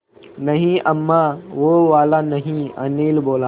नहीं अम्मा वो वाला नहीं अनिल बोला